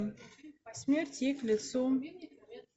смерть ей к лицу